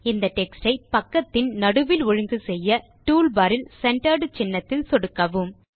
இந்த டெக்ஸ்ட் யை பக்கத்தின் நடுவில் ஒழுங்கு செய்ய டூல்பார் இல் சென்டர்ட் சின்னத்தில் சொடுக்கவும்